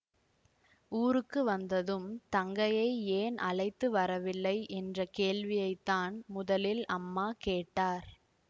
ஊருக்கு வந்ததும் தங்கையை ஏன் அழைத்து வரவில்லை என்ற கேள்வியைத்தான் முதலில் அம்மா கேட்டார்